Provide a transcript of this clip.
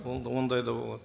ондай да болады